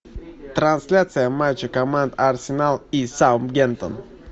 трансляция матча команд арсенал и саутгемптон